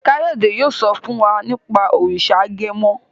Kayode yóò so fún wá nipa òrìṣà agẹmọ.